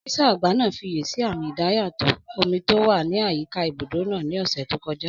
Ọ́físà àgbà náà fiyèsí àmì idayàtọ̀ omi tó wà ní àyíká ibùdó náà ní ọ̀sẹ̀ tó kọjá